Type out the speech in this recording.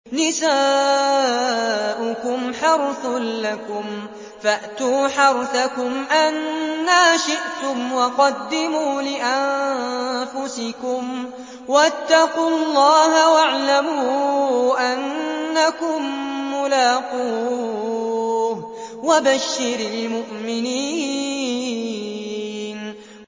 نِسَاؤُكُمْ حَرْثٌ لَّكُمْ فَأْتُوا حَرْثَكُمْ أَنَّىٰ شِئْتُمْ ۖ وَقَدِّمُوا لِأَنفُسِكُمْ ۚ وَاتَّقُوا اللَّهَ وَاعْلَمُوا أَنَّكُم مُّلَاقُوهُ ۗ وَبَشِّرِ الْمُؤْمِنِينَ